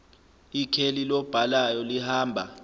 ikheli lobhalayo lihamba